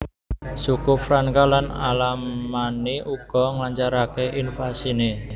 Suku Franka lan Alamanni uga nglancaraké invasiné